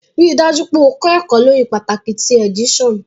Rii daju pe o kọ ẹkọ lori pataki ti edition